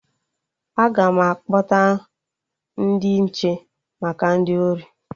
Aga m akpọta ndị nche maka ndị ori